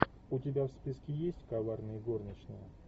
у тебя в списке есть коварные горничные